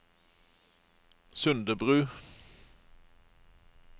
Sundebru